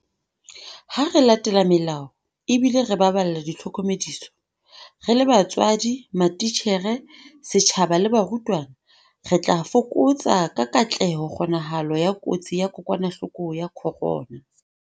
Ha re latela melao ebile re baballa ditlhokomediso - re le batswadi, matitjhere, setjhaba le barutwana - re tla fokotsa ka katleho kgonahalo ya kotsi ya kokwanahloko ya corona.